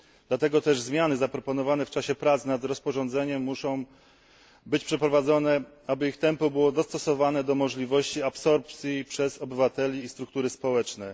Dlatego też zmiany zaproponowane w czasie prac nad rozporządzeniem muszą być przeprowadzone, aby ich tempo było dostosowane do możliwości absorpcji przez obywateli i struktury społeczne.